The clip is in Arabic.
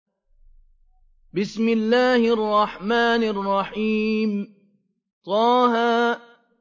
طه